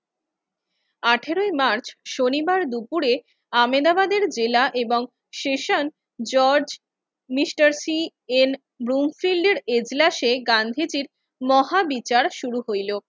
আঠারোই মার্চ শনিবার দুপুরে আমেনাবাদের জেলা এবং সেশন জজ মিস্টার সি এন ব্রুমফিল্ডের এজলাসে গান্ধীজির মহাবিচার শুরু হইলো।